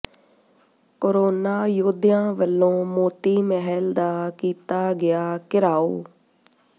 corona ਯੋਧਿਆਂ ਵੱਲੋਂ ਮੋਤੀ ਮਹਿਲ ਦਾ ਕੀਤਾ ਗਿਆ ਘਿਰਾਓ